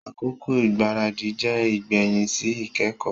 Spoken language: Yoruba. Akoko igbaradi jẹ igbẹhin si ikẹkọ.